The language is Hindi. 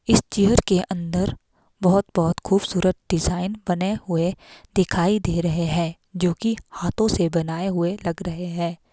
इस चेयर के अंदर बहोत बहोत खूबसूरत डिजाइन बने हुए दिखाई दे रहे है जो कि हाथो से बनाए हुए लग रहे है।